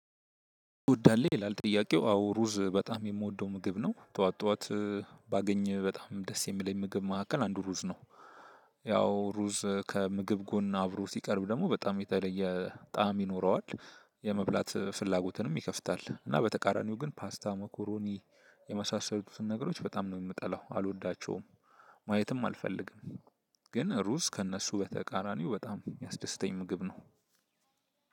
ሩዝ ትወዳለህ? ይላል ጥያቄው። አዎ ሩዝ በጣም የምወደው ምግብ ነው። ጠዋት ጠዋት ባገኝ በጣም ደስ የሚለኝ ምግብ ማዕከል አንዱ ሩዝ ነው። ያው ሩዝ ከምግብ ጎን አብሮ ሲቀርብ ደግሞ በጣም የተለየ ጣዕም ይኖረዋል። የመብላት ፍላጎትንም ይከፍታል። እና በተቃራኒው ግን ፓስታ፣ መኮረኒ የመሳሰሉትን ነገሮች በጣም ነው የምጠላው። አልወዳቸውም ማየትም አልፈልግም። ግን ሩዝ ከእነሱ በተቃራኒው በጣም የሚያስደስተኝ ምግብ ነው።